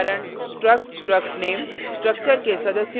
उदाहरण struct struct _ name;